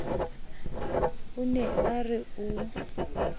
o ne a re o